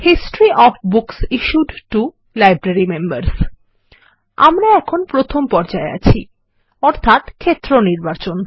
history of books issued to the library members আমরা এখনপ্রথমপর্যায়ে আছি অর্থাতক্ষেত্রনির্বাচন